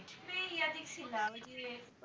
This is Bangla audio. এতে ছিলাম